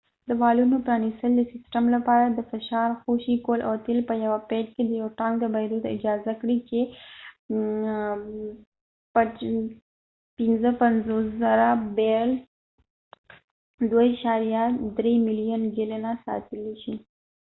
د والونو پرانستل د سیسټم لپاره د فشار خوشي کول او تیل په یوه پیډ کې یو ټانک ته بهیدو ته اجازه ورکړه چې ۵۵،۰۰۰ بیرل ۲.۳ ملیون ګیلنه ساتلی شي